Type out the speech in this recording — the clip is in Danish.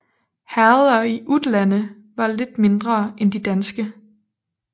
Herreder i Utlande var lidt mindre end de danske